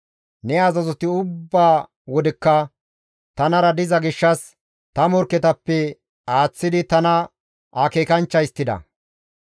Ne azazoti ubba wodekka tanara diza gishshas ta morkketappe aaththidi tana akeekanchcha histtida.